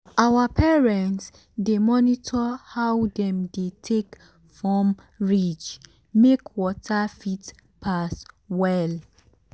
our parents dey monitor how dem dey take form ridge make water fit pass well.